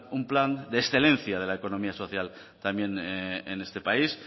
un plan de excelencia de la economía social también en este país